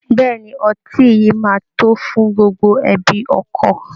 Bẹ́ẹ̀ ni, ọtí yìí máa tó fún gbogbo ẹbi ọkọ